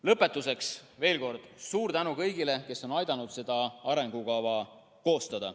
Lõpetuseks veel kord suur tänu kõigile, kes on aidanud seda arengukava koostada.